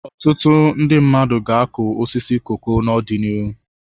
Ọtụtụ ndị mmadụ ga-akụ osisi koko n'ọdịnihu.